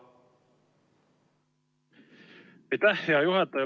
Aitäh, hea juhataja!